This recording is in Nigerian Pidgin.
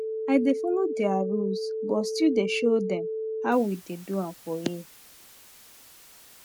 i dey follow their rules but still dey show dem how we dey do am for here